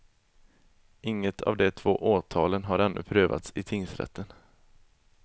Inget av de två åtalen har ännu prövats i tingsrätten.